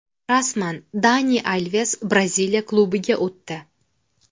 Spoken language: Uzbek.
Rasman: Dani Alves Braziliya klubiga o‘tdi.